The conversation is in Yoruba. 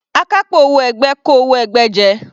Akápò owó ẹgbẹ́ kó owó ẹgbẹ́ jẹ.